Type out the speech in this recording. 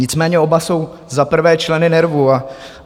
Nicméně oba jsou za prvé členy NERVu.